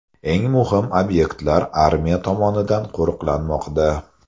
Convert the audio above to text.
Eng muhim obyektlar armiya tomonidan qo‘riqlanmoqda.